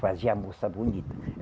Fazia a moça bonita.